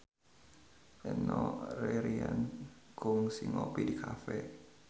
Enno Lerian kungsi ngopi di cafe